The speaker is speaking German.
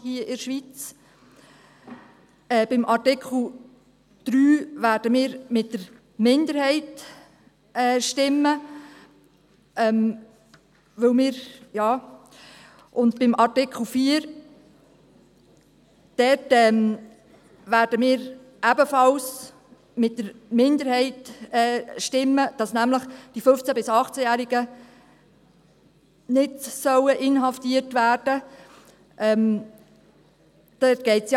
Bei Artikel 3 werden wir für die Minderheit stimmen, und bei Artikel 4 werden wir ebenfalls mit der Minderheit stimmen, wonach nämlich die 15- bis 18-Jährigen nicht inhaftiert werden sollen.